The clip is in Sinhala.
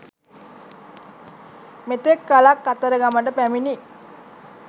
මෙතක් කලක් කතරගමට පැමිණි